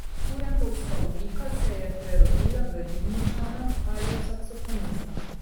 Kurentovska oblika se je prerodila v Ribničana ali v Saksofonista.